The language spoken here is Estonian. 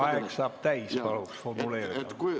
Aeg saab täis, palun küsimus formuleerida!